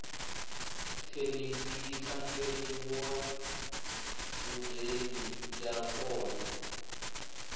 thenisi yi tlangeriwaubyeni ya kona